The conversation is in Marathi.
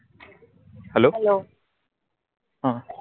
hello. अह